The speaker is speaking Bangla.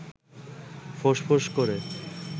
ফোঁস-ফোঁস করে